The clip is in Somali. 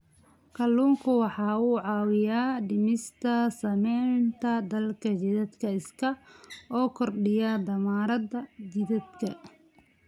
Kalluunku waxa uu caawiyaa dhimista saamaynta daalka jidhka isaga oo kordhiya tamarta jidhka.